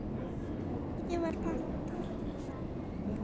Verkið var pantað.